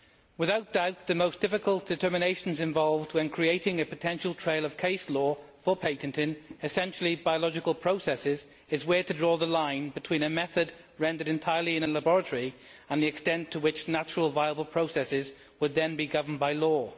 Without doubt, the most difficult determinations involved when creating a potential trail of case law for patenting essentially biological processes is where to draw the line between a method rendered entirely in a laboratory and the extent to which natural viable processes will then be governed by law.